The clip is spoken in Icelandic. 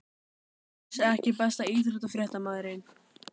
Pass EKKI besti íþróttafréttamaðurinn?